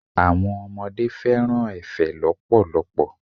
Àwọn ọmọdé fẹ́ràn efe lọpọlọpọ.